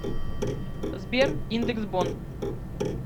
сбер индекс бонн